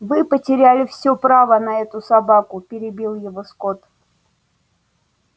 вы потеряли всё право на эту собаку перебил его скотт